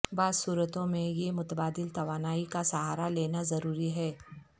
بعض صورتوں میں یہ متبادل توانائی کا سہارا لینا ضروری ہے